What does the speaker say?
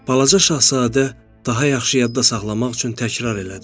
Balaca şahzadə daha yaxşı yadda saxlamaq üçün təkrarladı.